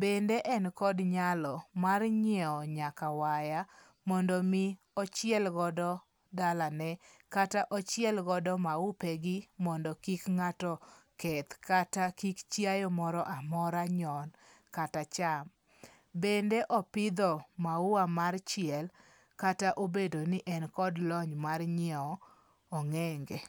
Bende en kod nyalo mar nyiew nyaka waya mondo mi ochiel godo dalane kata ochielgodo maupe gi mondo kik ng'ato keth kata kik chiaye moro amora nyon kata cham. Bende opidho maua mar chiel kata obedo ni en kod lony mar nyiew ong'enge.